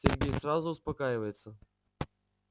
сергей сразу успокаивается